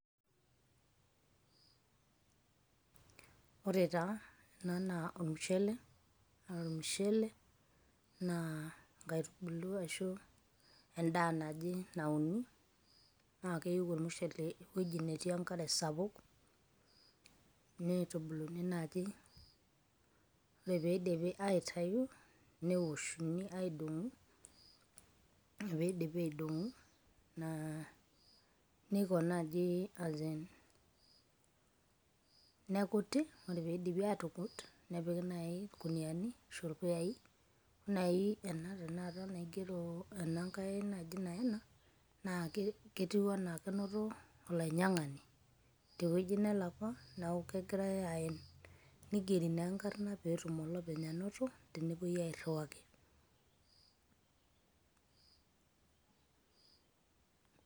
Ore taa, ena naa ormushele. Na ore ormushele na enkaitubulu ashu endaa naje nauni, na keyieu ormushele ewueji netii enkare sapuk. Nitubuluni naji. Ore pidipi aitayu, newoshuni aidong'u. Tenidipi aidong'u, naa niko naji olchani. Nekuti. Ore pidipi atukut, nepiki nai irkuniani ashu irpuyai, nai ena tanakata naigero enankae naji naena, na ketiu enaa kenoto olainyang'ani tewueji nelakwa, neeku kegirai aen. Nigeri naa enkarna petum olopeny anoto tenepoi airriwaki.